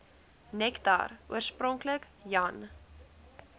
nektar oorspronklik jan